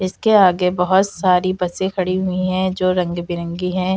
इसके आगे बहोत सारी बसें खड़ी हुई है जो रंग बिरंगी हैं।